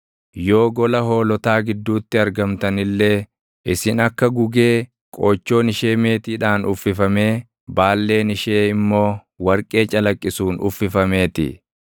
Yoo gola hoolotaa gidduutti argamtan illee, isin akka gugee qoochoon ishee meetiidhaan uffifamee baalleen ishee immoo warqee calaqqisuun uffifamee ti.”